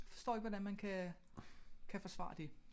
Jeg forstår ikke hvordan man kan kan forsvare det